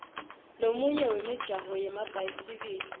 lomunye wemijaho yemabhayisikili